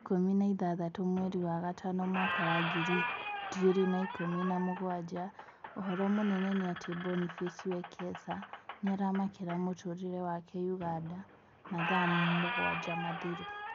Mweri ikũmi na ithathatũ mweri wa gatano mwaka wa ngiri igĩri na ikũmi na mũgwanja, ũhoro mũnene nĩ atĩ Boniface Wekesa nĩaramakĩra mũtũrĩre wake Uganda mathaa mugwanja mathiru